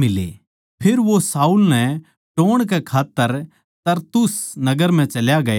फेर वो शाऊल नै टोह्ण कै खात्तर तरसुस नगर म्ह चल्या गया